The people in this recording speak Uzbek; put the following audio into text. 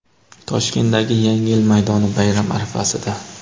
Toshkentdagi yangi yil maydoni - bayram arafasida.